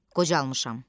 Qocalmışam.